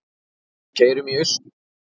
Við keyrum í austur